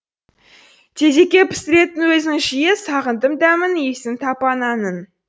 тезекке пісіретін өзің жиі сағындым дәмін исін тапананның